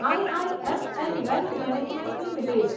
IIFL Wealth Management limited